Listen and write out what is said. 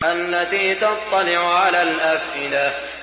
الَّتِي تَطَّلِعُ عَلَى الْأَفْئِدَةِ